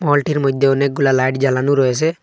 মলটির মধ্যে অনেকগুলা লাইট জ্বালানো রয়েছে।